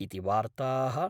॥ इति वार्ताः ॥